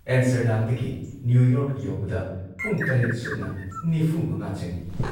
ꯑꯦꯝꯁꯇꯔꯗꯥꯝꯗꯒꯤ New York ꯌꯧꯕꯗ ꯄꯨꯡ ꯇꯔꯦꯠ ꯁꯨꯞꯅ ꯅꯤꯐꯨꯃꯉꯥ ꯆꯪꯏ ꯫